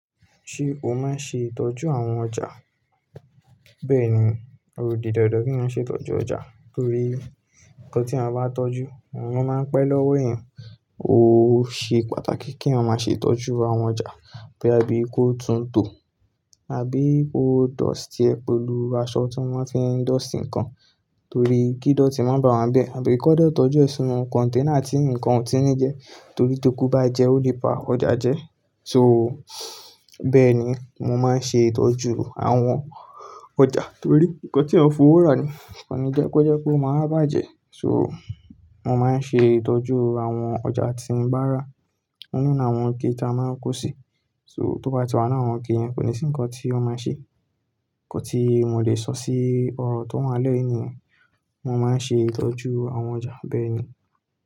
Ṣé o máa ń ṣe ìtọ́jú àwọn ọjà? Bẹ́ẹ̀ni, ó di dàndàn kí a ṣe ìtọ́jú ọjà torí ohùn tí a bá tọ́jú, òun máa ń pẹ́ lọ́wọ́ ẹ̀. Ó ṣe pàtàkì kí a máa ṣe ìtọ́jú àwọn ọjà bóyá bí ko tún tò àbí kó dustie pé lu aṣọ tí wón fi ń dustie ǹkan torí kí ídótí má bà wá bẹ́ẹ̀. Àbí kódò tọ́jú ìsúnmọ́ container tí ǹkan ò tí ní jẹ torí tókú bá jẹ, ó lè pa ọjà jẹ. So, bẹ́ẹ̀ ni mo máa ń ṣe ìtọ́jú àwọn ọjà torí ńnkàn tí a ń fòwọ́ ra ni, kò ní jẹ́ pé ó jẹ́ kó má bàjẹ́. So, mó máa ń ṣe ìtọ́jú àwọn ọjà tí mo bá rà nínú àwọn íké tá máa ń kó sí. So, tó bá ti wá nínú àwọn iké kò ní sí ǹkan tí ó máa ṣe. Ǹkan tí mo lè sọ sí ọ̀rọ̀ tó máa lọ́yún ènìyàn, mo máa ń ṣe ìtọ́jú àwọn ọjà bẹ́ẹ̀ ni.